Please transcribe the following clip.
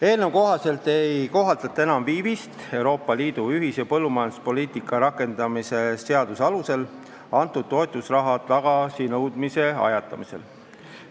Eelnõu kohaselt ei kohaldata enam viivist Euroopa Liidu ühise põllumajanduspoliitika rakendamise seaduse alusel antud toetusraha tagasinõudmise ajatamisel.